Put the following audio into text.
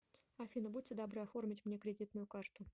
афина будьте добры оформить мне кредитную карту